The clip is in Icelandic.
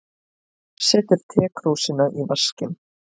Setur tekrúsina í vaskinn.